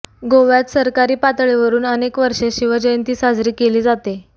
गोव्यात सरकारी पातळीवरून अनेक वर्षे शिवजयंती साजरी केली जाते